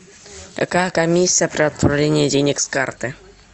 какая комиссия при отправлении денег с карты